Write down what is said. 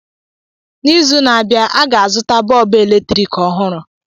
N’izu na-abịa, aga azụta bọọbụ eletriki ohụrụ